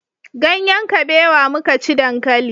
Ganyen kabewa muka ci dankali